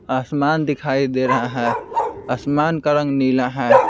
आसमान दिखाई दे रहा है आसमान का रंग नीला है।